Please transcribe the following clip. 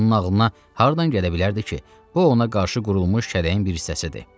Axı onun ağlına hardan gələ bilərdi ki, bu ona qarşı qurulmuş şərin bir hissəsidir.